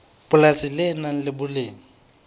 polasi le nang le boleng